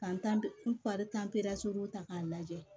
Ka n tanri tan ta k'a lajɛ